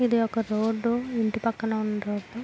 ఇది ఒక రోడ్ ఇంటి పక్కన ఉన్న రోడ్ .